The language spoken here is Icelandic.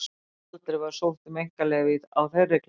Aldrei var sótt um einkaleyfi á þeirri klemmu.